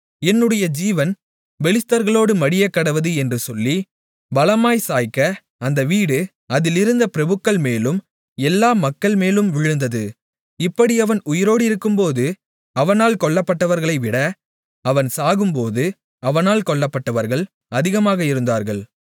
என்னுடைய ஜீவன் பெலிஸ்தர்களோடு மடியக்கடவது என்று சொல்லி பலமாய்ச் சாய்க்க அந்த வீடு அதில் இருந்த பிரபுக்கள்மேலும் எல்லா மக்கள்மேலும் விழுந்தது இப்படி அவன் உயிரோடிருக்கும்போது அவனால் கொல்லப்பட்டவர்களைவிட அவன் சாகும்போது அவனால் கொல்லப்பட்டவர்கள் அதிகமாக இருந்தார்கள்